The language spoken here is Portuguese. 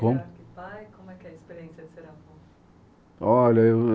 Como? Como é que é a experiência de ser avô? Olha eu